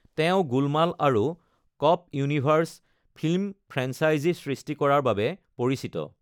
তেওঁ গোলমাল আৰু cop universe film franchise সৃষ্টি কৰাৰ বাবে পৰিচিত।